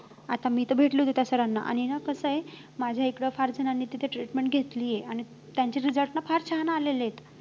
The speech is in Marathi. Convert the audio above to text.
आता मी तर भेटले होते त्या sir ना. आणि ना कसं आहे माझ्या इकडं फार जणांनी तिथे treatment घेतली आहे आणि त्यांचे result ना फार छान आलेले आहेत